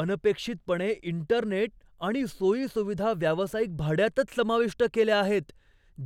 अनपेक्षितपणे, इंटरनेट आणि सोयी सुविधा व्यावसायिक भाड्यातच समाविष्ट केल्या आहेत,